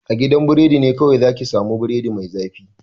A gidan biredi ne kawai za ki sa mu biredi mai zafi